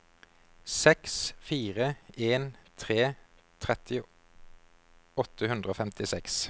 seks fire en tre tretti åtte hundre og femtiseks